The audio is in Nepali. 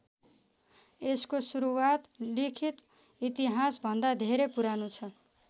यसको सुरुवात लिखित इतिहास भन्दा धेरै पुरानो छ।